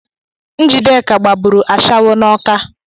Njideka gbabụrụ ashawo n’ọka